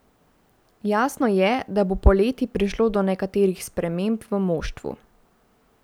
Jasno je, da bo poleti prišlo do nekaterih sprememb v moštvu.